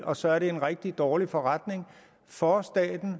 og så er det en rigtig dårlig forretning for staten og